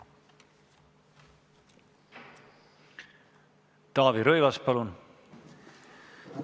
Taavi Rõivas, palun!